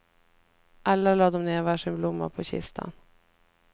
Alla lade de ned var sin blomma på kistan.